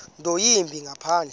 nto yimbi ngaphandle